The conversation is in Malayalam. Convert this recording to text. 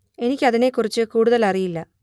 എനിക്ക് അതിനെ കുറിച്ച് കൂടുതൽ അറിയില്ല